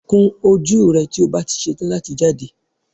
Kun ojú rẹ tí o bá ti ṣetán láti jáde